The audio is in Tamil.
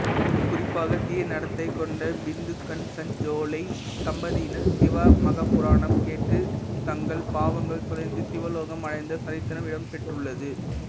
குறிப்பாக தீயநடத்தை கொண்ட பிந்துகன்சஞ்சுலை தம்பதியினர் சிவமகாபுராணம் கேட்டு தங்கள் பாவங்கள் தொலைந்து சிவலோகம் அடைந்த சரித்திரம் இடம்பெற்றுள்ளது